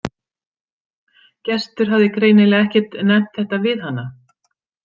Gestur hafði greinilega ekkert nefnt þetta við hana.